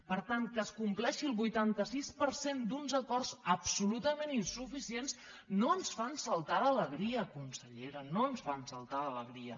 per tant que es compleixi el vuitanta sis per cent d’uns acords absolutament insuficients no ens fa saltar d’alegria consellera no ens fa saltar d’alegria